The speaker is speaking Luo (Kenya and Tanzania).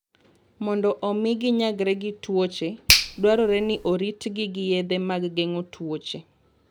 Mondo omi ginyagre gi tuoche, dwarore ni oritgi gi yedhe mag geng'o tuwoche.